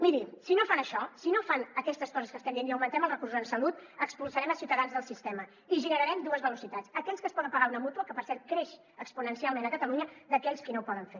miri si no fan això si no fan aquestes coses que estem dient i augmentem els recursos en salut expulsarem ciutadans del sistema i generarem dues velocitats aquells que es poden pagar una mútua que per cert creixen exponencialment a catalunya i aquells qui no ho poden fer